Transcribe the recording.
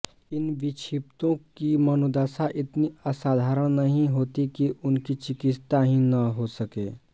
इन विक्षिप्तों की मनोदशा इतनी असाधारण नहीं होती कि उनकी चिकित्सा ही न हो सके